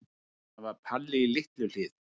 Það var Palli í Litlu-Hlíð.